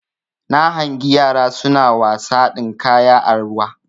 Na hangi yara suna wasa dinkaya a ruwa